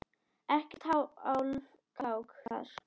Ekkert hálfkák þar.